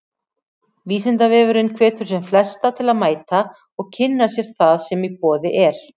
Vísindavefurinn hvetur sem flesta til að mæta og kynna sér það sem í boði er.